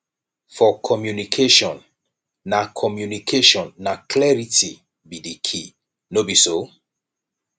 for communication na communication na clarity be di key no be so